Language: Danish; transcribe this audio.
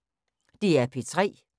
DR P3